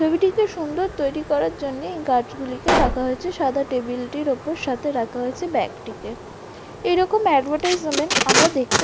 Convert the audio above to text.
ছবিটিকে সুন্দর তৈরি করার জন্যে এই গাছগুলিকে রাখা হয়েছে সাদা টেবিলটির ওপর সাথে রাখা হয়েছে ব্যাগটিকে । এইরকম অ্যাডভার্টাইজমেন্ট আমরা দেখতে --